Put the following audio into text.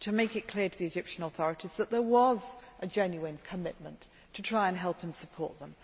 to make it clear to the Egyptian authorities that there was a genuine commitment to try to help and support them.